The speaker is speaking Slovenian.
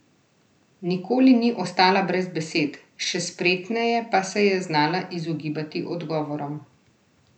Nikoli ni ostala brez besed, še spretneje pa se je znala izogibati odgovorom.